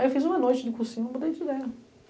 Aí eu fiz uma noite de cursinho, mudei de ideia.